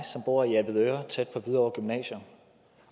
bor i avedøre tæt på hvidovre gymnasium